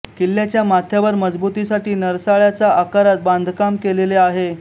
किल्ल्याच्या माथ्यावर मजबुतीसाठी नरसाळ्याच्या आकारात बांधकाम केलेले आहे